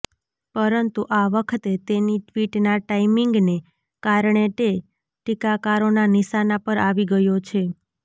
પરંતુ આ વખતે તેની ટ્વિટના ટાઇમીંગને કારણે તે ટીકાકારોના નિશાના પર આવી ગયો છે